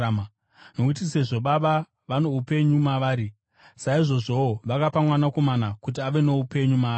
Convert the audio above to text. Nokuti sezvo Baba vano upenyu mavari, saizvozvowo vakapa Mwanakomana kuti ave noupenyu maari.